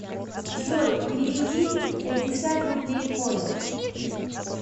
джой переведи пятьдесят рублей коле